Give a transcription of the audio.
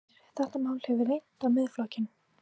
Heimir: Þetta mál hefur reynt á Miðflokkinn?